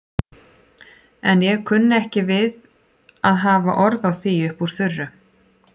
En ég kunni ekki við að hafa orð á því upp úr þurru.